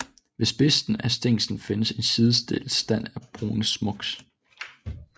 Ved spidsen af stænglen findes en sidestillet stand af brune småaks